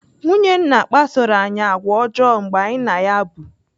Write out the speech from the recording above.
Nwunye nna kpasoro anyị àgwà ọjọọ mgbe anyị na ya bụ.